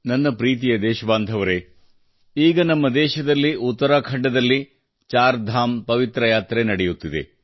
ನನ್ನ ಪ್ರೀತಿಯ ದೇಶಬಾಂಧವರೇ ಈಗ ನಮ್ಮ ದೇಶದಲ್ಲಿ ಉತ್ತರಾಖಂಡದ ಚಾರ್ ಧಾಮ್ ನ ಪವಿತ್ರ ಯಾತ್ರೆ ನಡೆಯುತ್ತಿದೆ